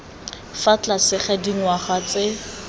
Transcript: fa tlase ga dingwaga tse